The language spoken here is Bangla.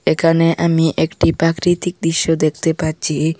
এখানে আমি একটি প্রাকৃতিক দৃশ্য দেখতে পাচ্ছি।